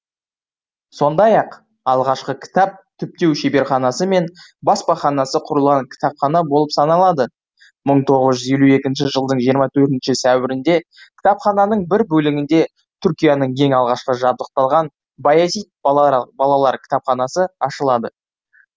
сондай ақ алғашқы кітап түптеу шеберханасы мен баспаханасы құрылған кітапхана болып саналады мың тоғыз жүз елу екінші жылдың жиырма төртінші сәуірінде кітапхананың бір бөлігінде түркияның ең алғашқы жабдықталған баязит балалар кітапханасы ашылады